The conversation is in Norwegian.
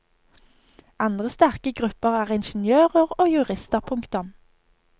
Andre sterke grupper er ingeniører og jurister. punktum